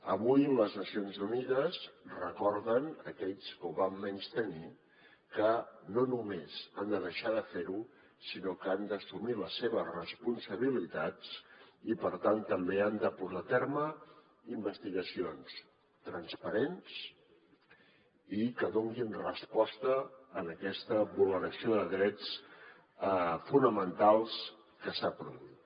avui les nacions unides recorden a aquells que ho van menystenir que no només han de deixar de fer ho sinó que han d’assumir les seves responsabilitats i per tant també han de portar a terme investigacions transparents i que donin resposta a aquesta vulneració de drets fonamentals que s’ha produït